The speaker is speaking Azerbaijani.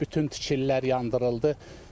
Bütün tikililər yandırıldı.